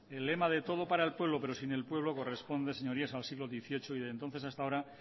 el lema de todo para el pueblo pero sin el pueblo corresponde señorías al siglo dieciocho y desde entonces hasta ahora han